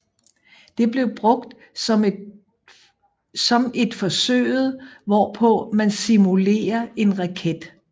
Det bliver brugt som et forsøget hvorpå man simulere en raket